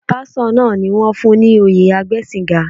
Pásítọ̀ náà ni wón fún ní oyè agbẹ́sìnga.